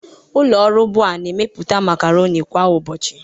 Ụlọ ọrụ Bua na-emepụta macaroni kwa ụbọchị